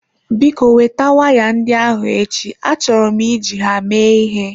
Biko weta waya ndị ahụ echi, achọrọ m iji ha mee ịhe.